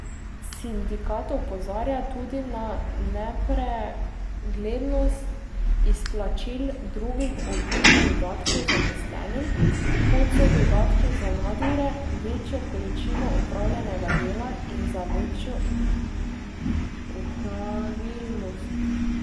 Sindikat opozarja tudi na nepreglednost izplačil drugih oblik dodatkov zaposlenim, kot so dodatki za nadure, večjo količino opravljenega dela in za večjo opravilnost.